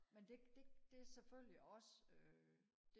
men det det det er er selvfølgelig også øh